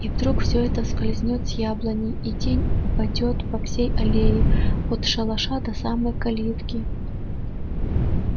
и вдруг все это скользнёт с яблони и тень упадёт по всей аллее от шалаша до самой калитки